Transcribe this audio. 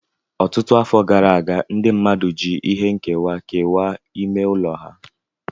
Ọtụtụ afọ gara aga, ndị mmadụ ji ihe nkewa kewaa ime ụlọ ha.